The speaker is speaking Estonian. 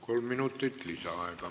Kolm minutit lisaaega.